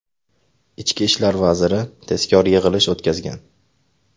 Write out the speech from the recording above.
Ichki ishlar vaziri tezkor yig‘ilish o‘tkazgan.